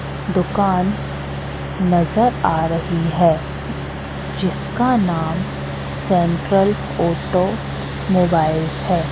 दुकान नजर आ रही है जिसका नाम सेंट्रल ऑटो मोबाइल्स है।